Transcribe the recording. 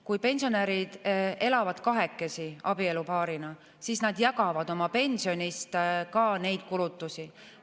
Kui pensionärid elavad kahekesi, abielupaarina, siis nad jagavad oma pensionist ka neid kulutusi.